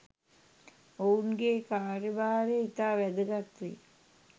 ඔවුන්ගේ කාර්යභාරය ඉතා වැදගත් වේ.